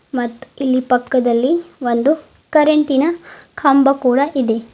ಮತ್ತು ಇಲ್ ಪಕ್ಕದಲ್ಲಿ ಒಂದು ಕರೆಂಟಿನ ಕಂಬ ಕೂಡ ಇದೆ.